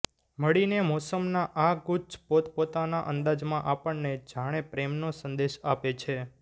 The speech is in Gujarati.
મળીને મોસમના આ ગુચ્છ પોતપોતાના અંદાજમાં આપણને જાણે પ્રેમનો સંદેશ આપે છે